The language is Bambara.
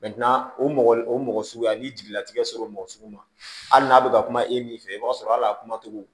o mɔgɔ o mɔgɔ suguya n'i jigila tigɛ sɔr'o mɔgɔ sugu ma hali n'a bɛ ka kuma e min fɛ i b'a sɔrɔ hali a kuma cogo